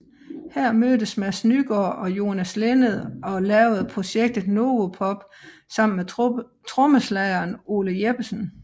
Her mødtes Mads Nygaard og Jonas Linnet og lavede projektet Novopop sammen med trommeslageren Ole Jeppesen